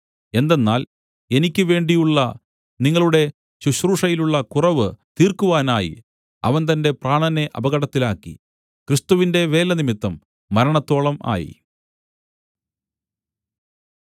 എന്തെന്നാൽ എനിക്ക് വേണ്ടിയുള്ള നിങ്ങളുടെ ശുശ്രൂഷയിലുള്ള കുറവ് തീർക്കുവാനായി അവൻ തന്റെ പ്രാണനെ അപകടത്തിലാക്കി ക്രിസ്തുവിന്റെ വേലനിമിത്തം മരണത്തോളം ആയി